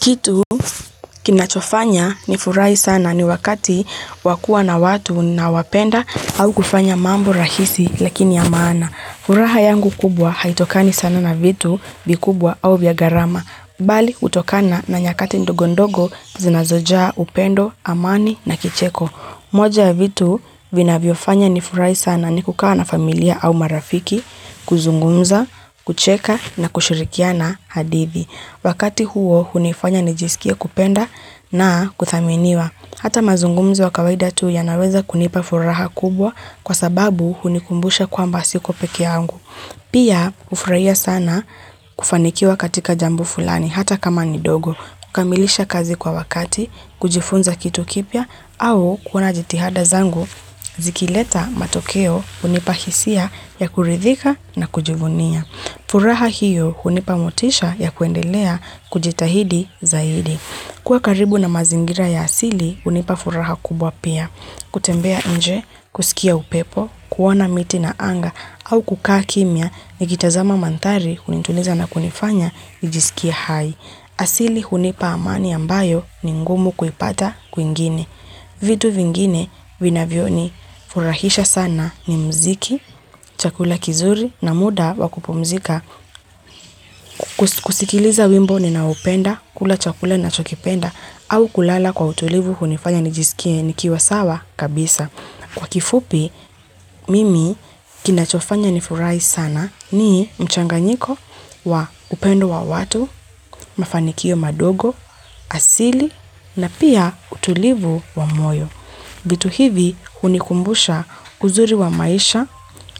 Kitu kinachofanya ni furai sana ni wakati wakua na watu na wapenda au kufanya mambo rahisi lakini amana. Huraha yangu kubwa haitokani sana na vitu bi kubwa au viagarama. Bali utokana na nyakati ndogondogo zinazoja upendo, amani na kicheko. Moja vitu vina viofanya ni furai sana ni kukawa na familia au marafiki, kuzungunza, kucheka na kushirikia na hadithi. Wakati huo, hunifanya nijisikia kupenda na kuthaminiwa. Hata mazungumzi wa kawaida tu ya naweza kunipa furaha kubwa kwa sababu hunikumbusha kwa mbasiko pekiangu. Pia, ufurahia sana kufanikiwa katika jambu fulani, hata kama ni dogo. Kamilisha kazi kwa wakati, kujifunza kitu kipia, au kuna jitihada zangu, zikileta matokeo hunipahisia ya kuridhika na kujivunia. Furaha hiyo hunipa motisha ya kuendelea kujitahidi zaidi. Kwa karibu na mazingira ya asili hunipa furaha kubwa pia. Kutembea nje, kusikia upepo, kuwana miti na anga au kukaa kimia ni gitazama mantari hunituniza na kunifanya ijisikia hai. Asili hunipa amani ambayo ni ngumu kuipata kuingini. Vitu vingine vinavyo ni furahisha sana ni mziki, chakula kizuri na muda wakupomzika, kusikiliza wimbo ni naupenda, kula chakula na chokipenda au kulala kwa utulivu hunifanya ni jisikie ni kiwa sawa kabisa. Kwa kifupi, mimi kinachofanya nifurai sana ni mchanganyiko wa upendo wa watu, mafanikio madogo, asili na pia utulivu wa moyo. Gitu hivi hunikumbusha uzuri wa maisha